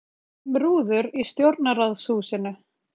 Skipt um rúður í Stjórnarráðshúsinu